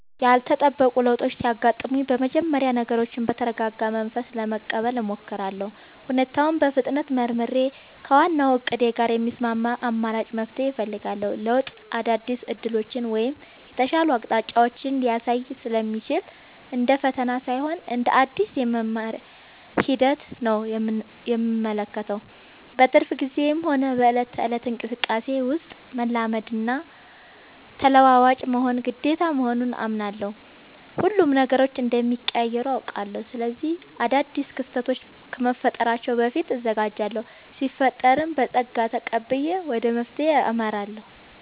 ያልተጠበቁ ለውጦች ሲያጋጥሙኝ በመጀመሪያ ነገሮችን በተረጋጋ መንፈስ ለመቀበል እሞክራለሁ። ሁኔታውን በፍጥነት መርምሬ፣ ከዋናው እቅዴ ጋር የሚስማማ አማራጭ መፍትሄ እፈልጋለሁ። ለውጥ አዳዲስ ዕድሎችን ወይም የተሻሉ አቅጣጫዎችን ሊያሳይ ስለሚችል፣ እንደ ፈተና ሳይሆን እንደ አዲስ የመማሪያ ሂደት ነው የምመለከተው። በትርፍ ጊዜዬም ሆነ በዕለት ተዕለት እንቅስቃሴዬ ውስጥ፣ መላመድና ተለዋዋጭ መሆን ግዴታ መሆኑን አምናለሁ። ሁሌም ነገሮች እንደሚቀያየሩ አውቃለሁ። ስለዚህ አዳዲስ ክስተቶች ከመፈጠራቸው በፊት እዘጋጃለሁ ሲፈጠርም በፀጋ ተቀብዬ ወደ መፍትሄው አመራለሁ።